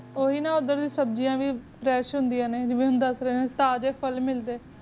ਉਹੀ ਨਾ ਉਦਾਰ ਸਬ੍ਜਿਯਾੰ ਵੀ ਰੁਸ਼ ਹੋਂਦੀ ਆ ਨਾ ਜੇਵੇ ਹੁਣ ਦਾਸਰੇ ਕ ਤਾਜ਼ਾ ਫੁੱਲ ਮਿਲਦੇ